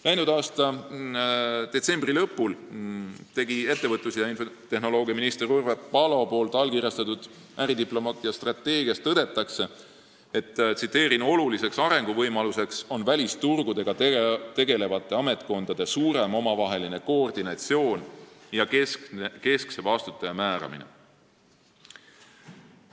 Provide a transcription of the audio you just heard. Läinud aasta detsembri lõpul ettevõtlus- ja infotehnoloogiaministri Urve Palo allkirjastatud äridiplomaatia strateegias tõdetakse, et "oluliseks arenguvõimaluseks on välisturgudega tegelevate ametkondade suurem omavaheline koordinatsioon ja keskse vastutaja määramine".